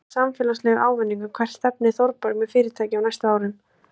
Mikill samfélagslegur ávinningur Hvert stefnir Þorbjörg með fyrirtækið á næstu árum?